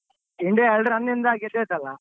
India ಎರ್ಡ್ run ಇಂದ ಗೆದ್ದಾಯ್ತಲ್ಲ.